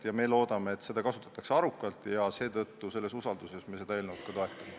Me loodame, et seda kasutatakse arukalt, seetõttu ja sellises usalduses me ka seda eelnõu toetame.